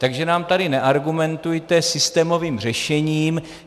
Takže nám tady neargumentujte systémovým řešením.